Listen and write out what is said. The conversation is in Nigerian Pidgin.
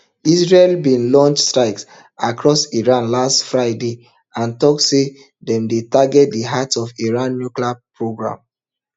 israel bin launch strikes across iran last fridayand tok say dem dey target di heart of iran nuclear programme